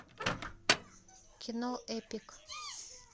кино эпик